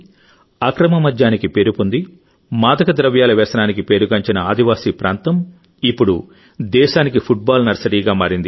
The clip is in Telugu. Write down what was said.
అక్రమ మద్యానికి పేరుపొంది మాదకద్రవ్యాల వ్యసనానికి పేరుగాంచిన ఆదివాసీ ప్రాంతం ఇప్పుడు దేశానికి ఫుట్బాల్ నర్సరీగా మారింది